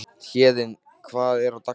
Héðinn, hvernig er dagskráin?